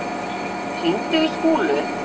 Kolur, hringdu í Skúlu.